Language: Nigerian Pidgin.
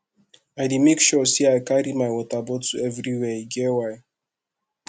i dey make sure sey i carry my water bottle everywhere e get why